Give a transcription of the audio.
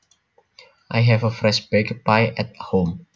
I have a fresh baked pie at home